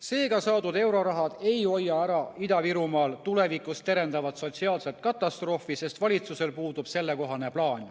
Seega, saadud eurorahad ei hoia ära Ida-Virumaal tulevikus terendavat sotsiaalset katastroofi, sest valitsusel puudub sellekohane plaan.